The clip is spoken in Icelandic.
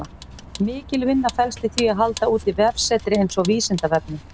Mikil vinna felst í því að halda úti vefsetri eins og Vísindavefnum.